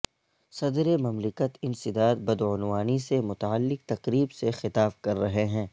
صدر مملکت انسداد بدعنوانی سے متعلق تقریب سے خطاب کر رہے ہیں